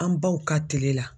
An baw ka tile la